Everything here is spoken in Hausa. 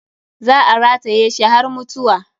Za a rataye shi har mutuwa.